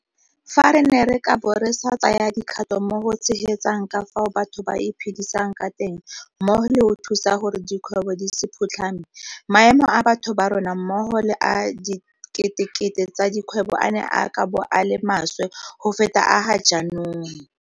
Fa re ne re ka bo re sa tsaya dikgato mo go tshegetseng ka fao batho ba iphedisang ka teng mmogo le go thusa gore dikgwebo di se phutlhame, maemo a batho ba rona mmogo le a diketekete tsa dikgwebo a ne a ka bo a le maswe go feta a ga jaanong.